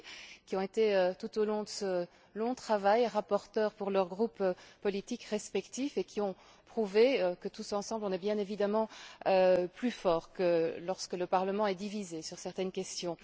Rossi, qui ont été au cours de ce long travail, rapporteurs pour leur groupe politique respectif et qui ont prouvé que, tous ensemble, on est bien évidemment plus forts que lorsque le Parlement est divisé sur certaines questions.